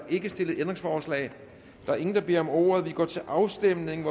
ikke stillet ændringsforslag der er ingen der beder om ordet og vi går til afstemning